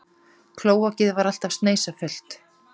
Klóakið var alltaf sneisafullt.